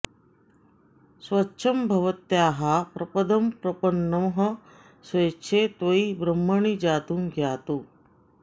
स्वच्छं भवत्याः प्रपदं प्रपन्नः स्वच्छे त्वयि ब्रह्मणि जातु यातु